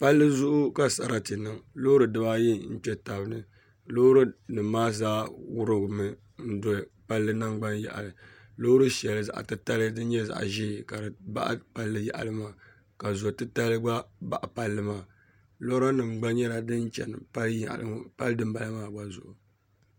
Palli zuɣu ka sarati niŋ loori dibaayi n kpɛ tabi ni loori nim maa zaa wurimmi n do palli nangbani yaɣali loori shɛli zaɣ tirali din nyɛ zaɣ ʒiɛ ka di baɣa palli yaɣali maa ka zo titali gba baɣa palli maa lora nim gba nyɛla din chɛni pali dinbala maa gba zuɣu